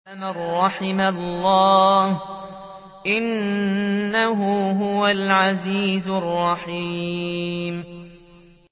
إِلَّا مَن رَّحِمَ اللَّهُ ۚ إِنَّهُ هُوَ الْعَزِيزُ الرَّحِيمُ